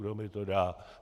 Kdo mi to dá?"